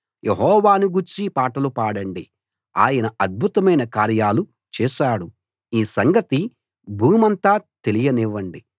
యెహోవాను గూర్చి పాటలు పాడండి ఆయన అద్భుతమైన కార్యాలు చేశాడు ఈ సంగతి భూమంతా తెలియనివ్వండి